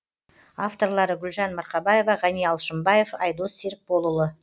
авторлары гүлжан марқабаева ғани алшымбаев айдос серікболұлы